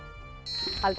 haldið